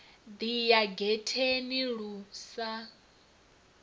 ḓi ya getheni lu sa